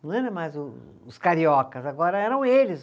Não era mais o os cariocas, agora eram eles.